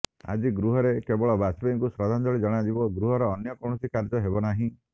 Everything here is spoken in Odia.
ଆଜି ଗୃହରେ କେବଳ ବାଜପେୟୀଙ୍କୁ ଶ୍ରଦ୍ଧାଞ୍ଜଳି ଜଣାଯିବ ଗୃହର ଅନ୍ୟ କୌଣସି କାର୍ଯ୍ୟ ହେବ ନାହିଁ